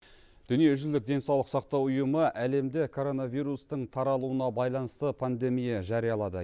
дүниежүзілік денсаулық сақтау ұйымы әлемде коронавирустың таралуына байланысты пандемия жариялады